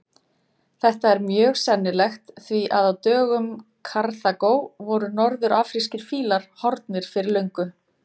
Þetta er mjög sennilegt því að á dögum Karþagó voru norður-afrískir fílar horfnir fyrir löngu.